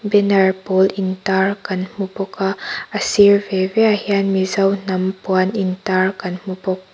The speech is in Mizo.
banner pawl intar kan hmu bawk a a sir ve ve ah hian mizo hnam puan intar kan hmu bawk.